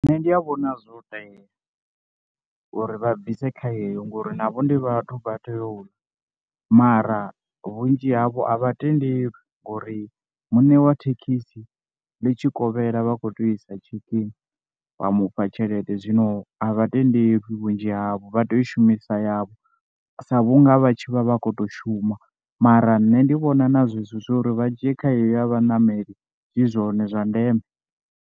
Nṋe ndia vhona zwo tea uri vha bvise kha yeyo ngori navho ndi vhathu vha tea u ḽa, mara vhunzhi havho a vha tendeli ngori mune wa thekhisi ḽi tshi kovhela vha khou tea u isa checking vha mufha tshelede zwino a vha tendeli vhunzhi havho vha tea u shumisa yavho sa vhunga vha tshi vha vha khou to shuma, mara nṋe ndi vhona na zwezwo zwa uri vha dzhie kha yeyo ya vhaṋameli zwi zwone zwa ndeme.